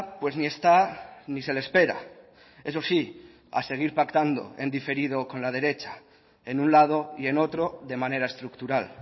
pues ni está ni se le espera eso sí a seguir pactando en diferido con la derecha en un lado y en otro de manera estructural